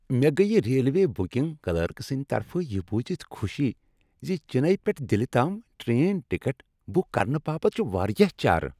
مےٚ گٔیۍ railway booking clerk سٕنٛد طرفہٕ یہ بوزتھ خوشی ز چنئی پیٹھ دلہ تام ٹرین ٹکٹ بک کرنہٕ باپتھ چھ واریاہ چارٕ۔